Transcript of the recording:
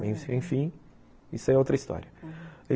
Bom, enfim, isso é outra história.